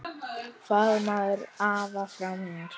Faðmaðu afa frá mér.